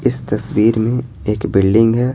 इस तस्वीर में एक बिल्डिंग है।